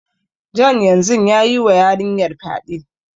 John yanzun ya yi wa yarinyar fyade.